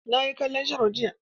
Na yi kallon sharo jiya.